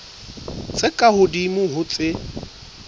tse ka hodimo ho tse